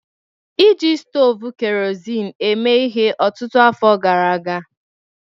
Iji stovu kerosene eme ihe ọtụtụ afọ gara aga